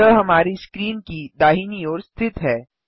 यह हमारी स्क्रीन की दाहिनी ओर स्थित हैं